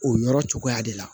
O yɔrɔ cogoya de la